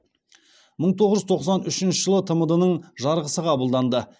мың тоғыз жүз тоқсан үшінші жылы тмд ның жарғысы қабылданды